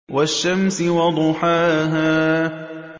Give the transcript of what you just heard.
وَالشَّمْسِ وَضُحَاهَا